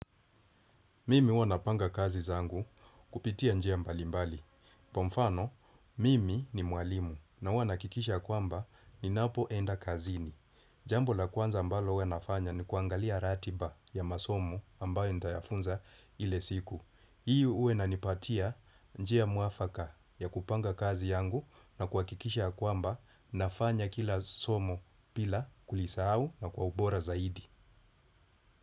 Mimi huwa napanga kazi zangu kupitia njia mbalimbali. Kwa mfano, mimi ni mwalimu na huwa nahakikisha kwamba ninapoenda kazini. Jambo la kwanza ambalo huwa nafanya ni kuangalia ratiba ya masomo ambayo nitayafunza ile siku. Hii huwa inanipatia njia mwafaka ya kupanga kazi yangu na kuhakikisha ya kwamba nafanya kila somo bila kulisahu na kwa ubora zaidi.